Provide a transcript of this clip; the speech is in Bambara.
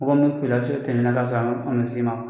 Mɔgɔ min bɛ a bɛ se ka tɛmɛ e la ka sɔrɔ a ma a ma s'e ma